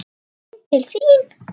Heim til þín?